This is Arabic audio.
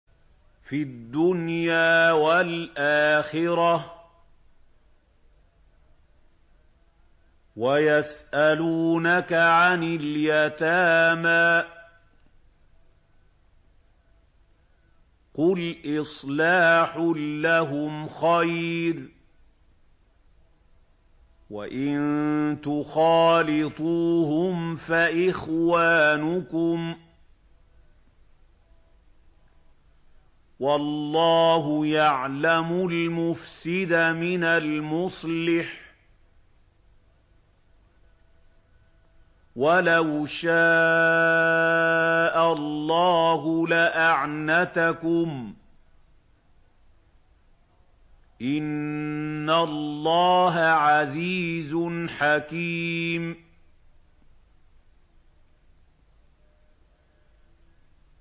فِي الدُّنْيَا وَالْآخِرَةِ ۗ وَيَسْأَلُونَكَ عَنِ الْيَتَامَىٰ ۖ قُلْ إِصْلَاحٌ لَّهُمْ خَيْرٌ ۖ وَإِن تُخَالِطُوهُمْ فَإِخْوَانُكُمْ ۚ وَاللَّهُ يَعْلَمُ الْمُفْسِدَ مِنَ الْمُصْلِحِ ۚ وَلَوْ شَاءَ اللَّهُ لَأَعْنَتَكُمْ ۚ إِنَّ اللَّهَ عَزِيزٌ حَكِيمٌ